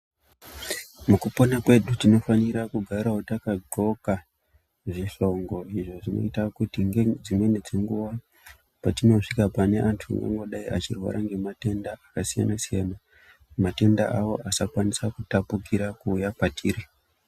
Mukupona kwedu tinofanirawo kugara takagonhka zvihlongo izvo zvinoita kuti nedzimweni dzenguwa Patinosvika pavanhu vanodai vane matenda akasiyana-siyana matenda awo asakona kutapukira achiuya kwatiri.